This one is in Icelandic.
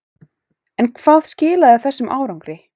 En hvað skilaði þessum árangri?